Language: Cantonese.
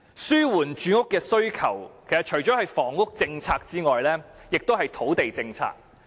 滿足住屋需求，不但涉及房屋政策，亦涉及土地政策。